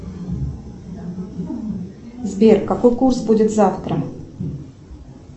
сбер какой курс будет завтра